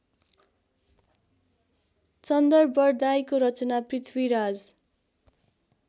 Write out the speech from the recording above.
चन्दरबरदाइको रचना पृथ्वीराज